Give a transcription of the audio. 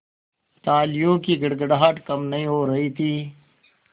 तालियों की गड़गड़ाहट कम नहीं हो रही थी